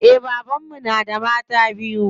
Eh baban mu na da mata biyu.